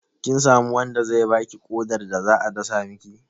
Kin samu wanda zai baki ƙodar da za a dasa miki?